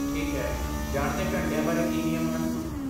ਠੀਕ ਹੈ, ਜਾਣ ਦੇ ਘੰਟਿਆਂ ਬਾਰੇ ਕੀ ਨਿਯਮ ਹਨ?